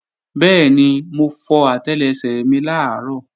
Bẹ́ẹ̀ni, mo fọ àtẹlẹsẹ̀ mi làárọ̀